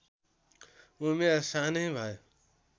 उमेर सानै भए